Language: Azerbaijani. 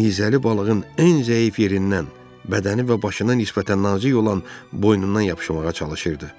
nizəli balığın ən zəif yerindən, bədəni və başına nisbətən nazik olan boynundan yapışmağa çalışırdı.